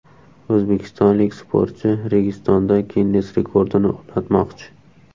O‘zbekistonlik sportchi Registonda Ginness rekordini o‘rnatmoqchi.